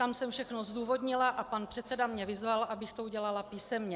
Tam jsem všechno zdůvodnila a pan předseda mě vyzval, abych to udělala písemně.